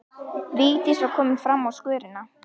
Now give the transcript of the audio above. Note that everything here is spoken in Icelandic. Vigdís var komin fram á skörina.